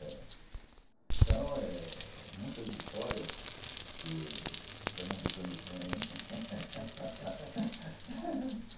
Então, muitas histórias que o pernambucano tem.